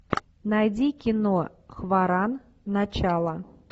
найди кино хваран начало